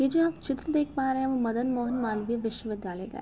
यह जो आप चित्र देख पा रहे हैं वो मदन मोहन मालवीय विश्वविद्यालय का --